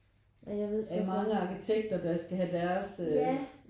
Af mange arkitekter der skal have deres